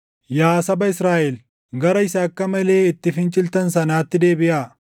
Yaa saba Israaʼel, gara Isa akka malee itti finciltan sanaatti deebiʼaa.